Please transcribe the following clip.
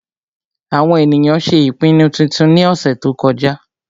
àwọn ènìyàn ṣé ìpinnu titun ní ọ̀sẹ̀ tó kọjá